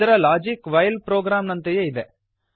ಇದರ logic while programme ನಂತೆಯೇ ಇದೆ